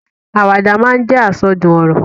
Àwàdà máa ń jẹ́ àsọdùn ọ̀rọ̀.